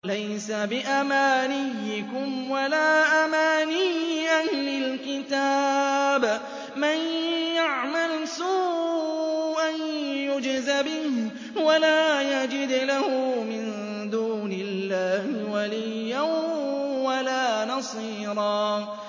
لَّيْسَ بِأَمَانِيِّكُمْ وَلَا أَمَانِيِّ أَهْلِ الْكِتَابِ ۗ مَن يَعْمَلْ سُوءًا يُجْزَ بِهِ وَلَا يَجِدْ لَهُ مِن دُونِ اللَّهِ وَلِيًّا وَلَا نَصِيرًا